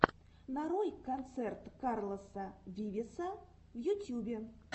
нарой концерт карлоса вивеса в ютьюбе